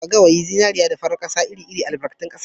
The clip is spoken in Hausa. Azurfa, zinariya, gawayi da farar kasa ire- iren albarkatun kasa ne